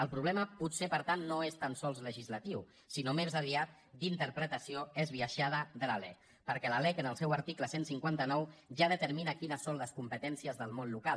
el problema potser per tant no és tan sols legislatiu sinó més aviat d’interpretació esbiaixada de la lec perquè la lec en el seu article cent i cinquanta nou ja determina quines són les competències del món local